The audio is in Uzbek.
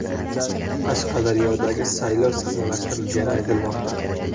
Qashqadaryodagi saylov sahnalashtirilgani aytilmoqda.